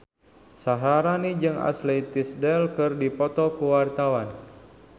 Syaharani jeung Ashley Tisdale keur dipoto ku wartawan